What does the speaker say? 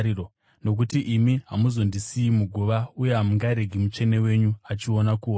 nokuti imi hamuzondisiyi muguva, uye hamungaregi Mutsvene wenyu achiona kuora.